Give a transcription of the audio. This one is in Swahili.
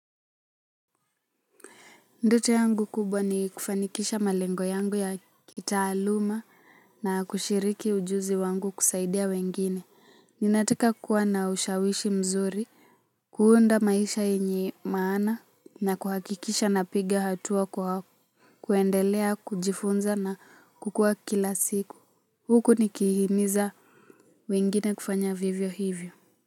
Ndoto yangu kubwa ni kufanikisha malengo yangu ya kitaaluma na kushiriki ujuzi wangu kusaidia wengine. Ninataka kuwa na ushawishi mzuri. Kuunda maisha yenye maana na kuhakikisha napiga hatua kwa kuendelea kujifunza na kukua kila siku. Huku, nikihimiza, wengine kufanya vivyo hivyo.